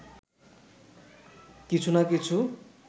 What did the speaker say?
কিছু না কিছু